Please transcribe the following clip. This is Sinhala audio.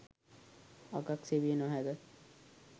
අගක් සෙවිය නොහැක.